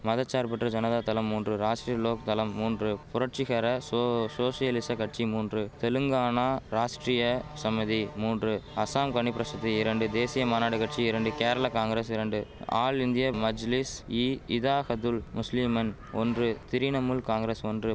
மத சார்பற்ற ஜனதா தளம் மூன்று ராஷ்டிரிய லோக் தளம் மூன்று புரட்சிகர சோ சோஷலிச கட்சி மூன்று தெலுங்கானா ராஷ்டிரிய சமிதி மூன்று அசாம் கணிபிரஷதி இரண்டு தேசிய மாநாடு கட்சி இரண்டு கேரள காங்கிரஸ் இரண்டு ஆல் இந்தியா மஜ்லிஸ் இ இதாஹதுல் முஸ்லிமன் ஒன்று திரிணமுல் காங்கிரஸ் ஒன்று